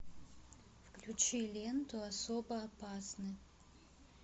включи ленту особо опасны